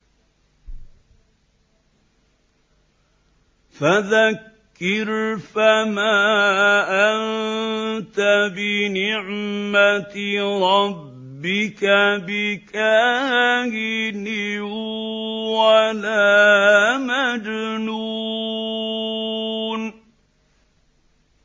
فَذَكِّرْ فَمَا أَنتَ بِنِعْمَتِ رَبِّكَ بِكَاهِنٍ وَلَا مَجْنُونٍ